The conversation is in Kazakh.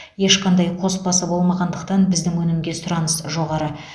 ешқандай қоспасы болмағандықтан біздің өнімге сұраныс жоғары